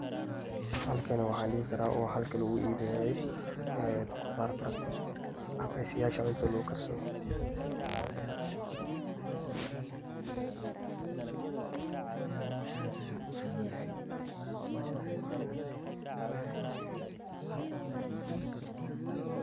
Halkani waxaan dhihi karaa waa halka lagu iibinayo khudarta ama meesh yasha cuntada lagu karsado ama lagu iibiyo oo lagu gado.